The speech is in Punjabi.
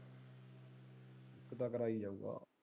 ਇਕ ਤਾਂ ਕਰੇਇ ਜਾਊਗਾ।